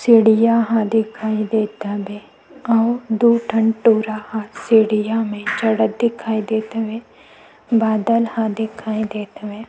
चिड़िया ह दिखाई दत हवे अऊ दु ठन टूरा ह सीढ़िया मे चढ़त दिखाई देत हवे बादल ह दिखाई देत हवे।